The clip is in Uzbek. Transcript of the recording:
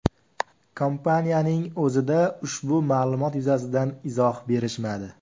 Kompaniyaning o‘zida ushbu ma’lumot yuzasidan izoh berishmadi.